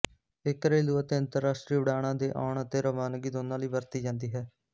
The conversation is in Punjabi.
ਇਹ ਘਰੇਲੂ ਅਤੇ ਅੰਤਰਰਾਸ਼ਟਰੀ ਉਡਾਣਾਂ ਦੇ ਆਉਣ ਅਤੇ ਰਵਾਨਗੀ ਦੋਵਾਂ ਲਈ ਵਰਤੀ ਜਾਂਦੀ ਹੈ